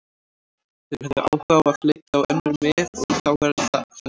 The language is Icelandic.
Þeir höfðu áhuga á að leita á önnur mið og þá er það þannig.